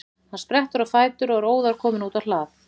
Hann sprettur á fætur og er óðar kominn út á hlað.